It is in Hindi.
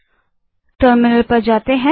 अतः टर्मिनल पर जाएँ